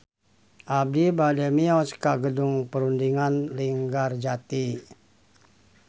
Abi bade mios ka Gedung Perundingan Linggarjati